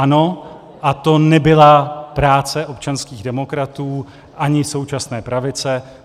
Ano, a to nebyla práce občanských demokratů ani současné pravice.